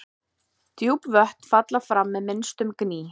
Djúp vötn falla fram með minnstum gný.